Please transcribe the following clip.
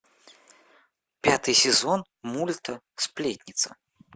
пятый сезон мульта сплетница